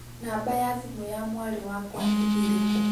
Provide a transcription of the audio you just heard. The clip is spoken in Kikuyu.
Namba ya thimũ ya mwarĩ wakwa nĩ ĩrĩkũ?